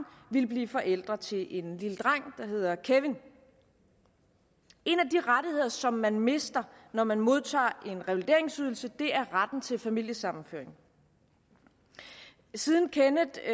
ville blive forældre til en lille dreng der hedder kevin en af de rettigheder som man mister når man modtager en revalideringsydelse er retten til familiesammenføring siden kenneth